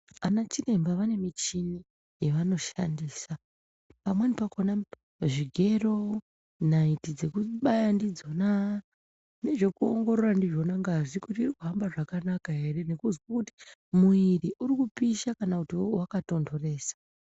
Ana chiremba vane michini yevanoshandisa pamweni pakona zvigero, naiti dzekubaya ndidzona nezvekuongorora ndizvo ngazi kuti irikuhamba zvakanaka ere nekuzwe kuti mwiri urikupisha kana kuti wakatonhoresa.